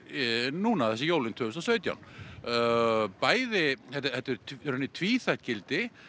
núna jólin tvö þúsund og sautján þetta er í rauninni tvíþætt gildi